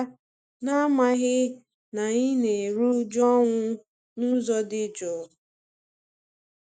Ha were achicha bia, n'amaghị na anyị na-eru uju ọnwụ n'ụzọ dị juu.